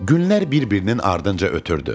Günlər bir-birinin ardınca ötürdü.